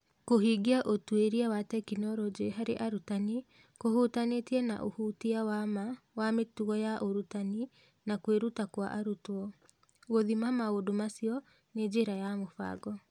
Kũhingia ũtuĩria wa tekinoronjĩ harĩ arutani kũhutanĩtie na ũhutia wa ma wa mĩtugo ya ũrutani na kwĩruta kwa arutwo; gũthima maũndũ macio na njĩra ya mũbango.